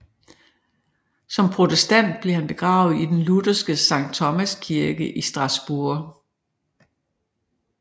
Som protestant blev han begravet i den lutherske Sankt Thomas Kirke i Strasbourg